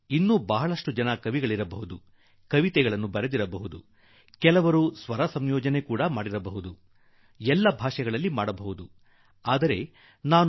ಇನ್ನುಕವಿತೆಗಳನ್ನು ಬರೆದಿರುವ ಅನೇಕ ಕವಿಗಳಿರಬಹುದು ಪ್ರಾಯಶಃ ಕವನ ಬರೆದಾರು ಇನ್ನೂ ಕೆಲವರು ಆ ಕವಿತೆಗಳಿಗೆ ಸ್ವರ ಸಂಯೋಜನೆ ಮಾಡಿಯಾರು ಪ್ರತಿಯೊಂದು ಭಾಷೆಯಲ್ಲೂ ಕವಿತೆ ಬರೆಯಲಿಕ್ಕೆ ಸಾಕು